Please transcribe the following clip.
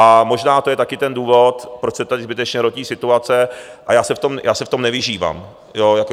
A možná to je taky ten důvod, proč se tady zbytečně hrotí situace, a já se v tom nevyžívám.